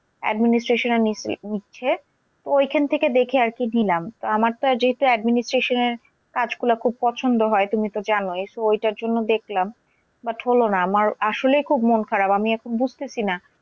Administration এর নিচ্ছে, তো ওইখান থেকে দেখে আরকি নিলাম। তা আমার তো যেহেতু administration এর কাজ গুলো খুব পছন্দ হয় তুমি তো জানোই। so ওইটার জন্য দেখলাম but হলো না। আমার আসলেই খুব মন খারাপ আমি এখন বুঝতেসি না।